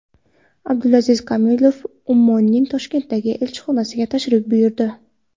Abdulaziz Komilov Ummonning Toshkentdagi elchixonasiga tashrif buyurdi.